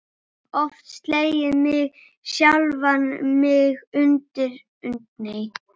Oft slegið sjálfan mig utan undir.